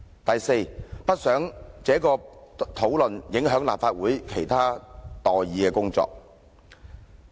第四，他說不想有關討論影響立法會其他待議的工作。